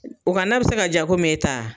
O ka nan be se ka ja e ta ?